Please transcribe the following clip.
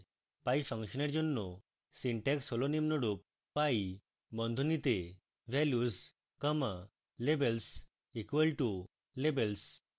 pie ফাংশনের জন্য syntax হল নিম্নরূপ: pie বন্ধনীতে values comma labels equal to labels